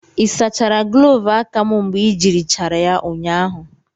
ị sachara gloovu aka m mgbe i jirichara ya ụnyahụ?